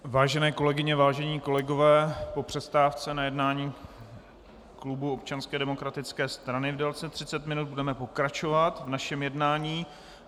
Vážené kolegyně, vážení kolegové, po přestávce na jednání klubu Občanské demokratické strany v délce 30 minut budeme pokračovat v našem jednání.